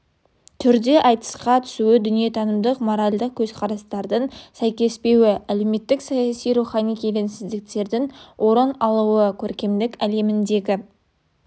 түрде айтысқа түсуі дүниетанымдық моральдық көзқарастардың сәйкеспеуі әлеуметтік саяси рухани келеңсіздіктердің орын алуы көркемдік әлеміндегі